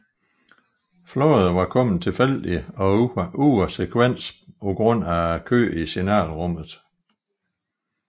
Flåde var kommet tilfældigt og ude af sekvens på grund af kø i signalrummet